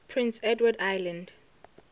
prince edward island